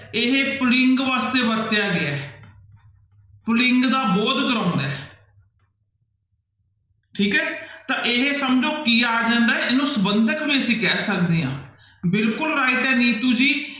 ਇਹ ਪੁਲਿੰਗ ਵਾਸਤੇ ਵਰਤਿਆ ਗਿਆ ਹੈ ਪੁਲਿੰਗ ਦਾ ਬੋਧ ਕਰਵਾਉਂਦਾ ਹੈ ਠੀਕ ਹੈ ਤਾਂ ਇਹ ਸਮਝੋ ਕੀ ਆ ਜਾਂਦਾ ਹੈ ਇਹਨੂੰ ਸੰਬੰਧਕ ਵੀ ਅਸੀਂ ਕਹਿ ਸਕਦੇ ਹਾਂ ਬਿਲਕੁਲ right ਹੈ ਨੀਤੂ ਜੀ।